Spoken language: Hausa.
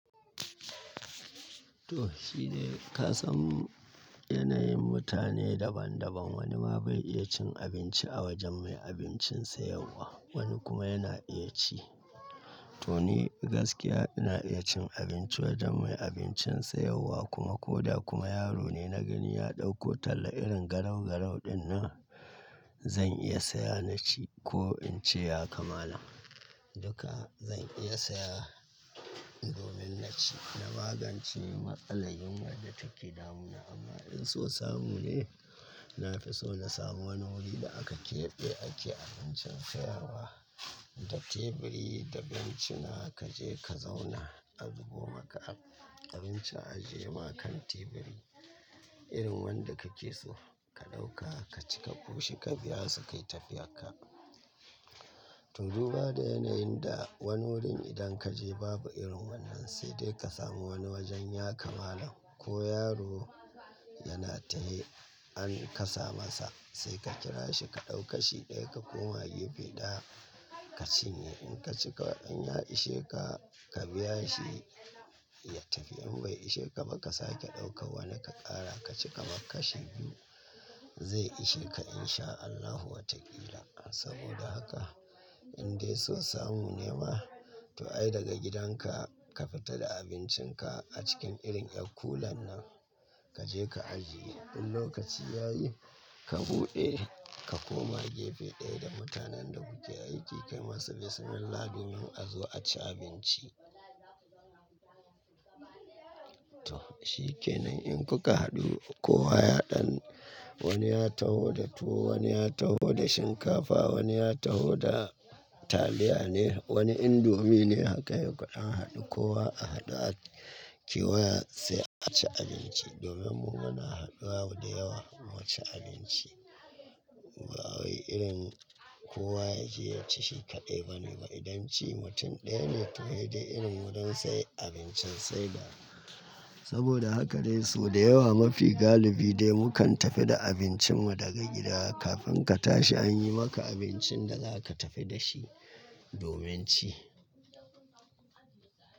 To shi dai, ka san yanayin mutane daban daban wani ma bai iya cin abinci a wajen mai abincin sayarwa wani kuma yana iya ci. To ni gaskiya ina iya cin abinci wajen mai abincin sayarwa kuma ko da kuma yaro ne na gani ya ɗauko talla irin garau garau dinnan zan iya saya na ci ko in ce ya kamala duka zan iya saya domin na ci. Na magance matsalar yunwar da take damu na. Amma in so samu ne, na fi so na samu wani wuri da aka keɓe ake abincin sayarwa da teburi da bencina kaje ka zauna a zubo maka abinci a ajiye ma kan teburi irin wanda kake so ka ɗauka ka ci ka koshi ka biya su kai tafiyar ka. To duba da yanayin da wani wurin idan ka je babu irin wannan sai dai ka samu wani wajen ya kamala ko yaro yana tahe an kasa masa sai ka kira shi ka ɗau kashi ɗaya ka koma gefe ɗaya ka cinye. In ka cika in ya ishe ka, ka biya shi ya tafi in bai ishe ka ba ka sake ɗaukan wani ka ƙara ka ci kamar kashi biyu zai ishe ka in sha Allahu watakila. Saboda haka in dai so samu ne ba to ai daga gidanka ka fita da abincinka a cikin irin ƴar kulan nan kaje ka ajiye. In lokaci yayi ka buɗe ka koma gefe ɗaya da mutanen da kuke aiki kai masa bismillah domin a zo a ci abinci. To shikenan in kuka haɗu kowa ya ɗan wani ya taho da tuwo wani ya taho da shinkafa wani ya taho da taliya ne wani indomie ne haka yokai. Idan an haɗu kowa a haɗu a kewaya sai a ci abinci domin mu muna haɗuwa da yawa mu ci abinci. Ba wai irin kowa yaje ya ci shi kaɗai bane ba idan ci mutum ɗaya ne to ya je irin wurin sai abincin sai dawa. Saboda haka dai so da yawa mafi galibi dai mu kan tafi da abincin mu daga gida kafin ka tashi an yi maka abincin da za ka tafi da shi domin ci.